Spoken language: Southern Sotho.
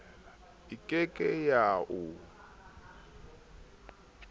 e ke ke ya o